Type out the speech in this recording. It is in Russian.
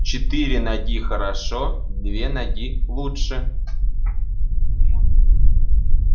четыре ноги хорошо две ноги лучше